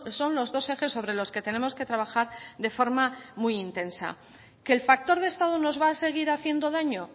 son los dos ejes sobre los que tenemos que trabajar de forma muy intensa que el factor de estado nos va a seguir haciendo daño